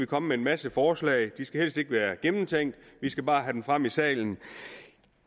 komme med en masse forslag de skal helst ikke være gennemtænkt vi skal bare have dem frem i salen